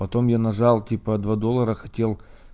потом я нажал типа два доллара хотел